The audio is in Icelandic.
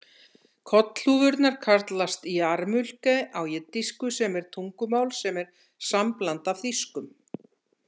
Kollhúfurnar kallast yarmulke á jiddísku sem er tungumál sem er sambland af þýskum.